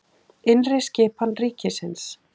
Innri skipan ríkisins